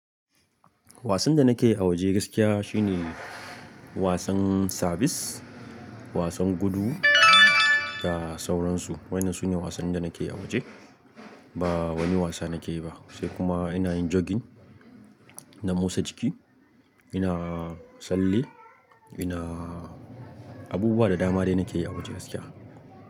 Wasan da nake a waje gaskiya shi ne wasan sabis, wasan gudu da sauransu. Waɗannan su ne wasan da nake a waje. Ba wani wasa nake yi ba, sai kuma ina yin jogging, na motsa jiki, ina tsalli, ina abubuwa da dama dai nake yi a waje gaskiya.